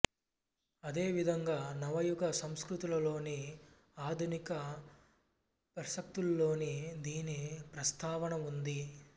అదే విధంగా నవ యుగ సంస్కృతుల్లోని ఆధునిక ప్రసక్తుల్లోనూ దీని ప్రస్తావన ఉంది